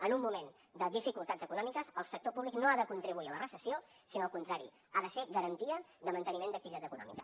en un moment de dificultats econòmiques el sector públic no ha de contribuir a la recessió sinó al contrari ha de ser garantia de manteniment d’activitat econòmica